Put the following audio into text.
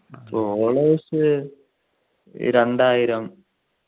followers രണ്ടായിരം